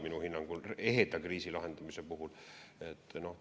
Minu hinnangul me lahendame praegu ehedat kriisi.